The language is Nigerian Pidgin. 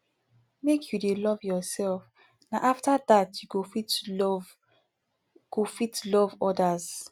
make you dey love yoursef na afta dat you go fit love go fit love odas